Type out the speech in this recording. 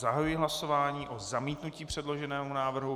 Zahajuji hlasování o zamítnutí předloženého návrhu.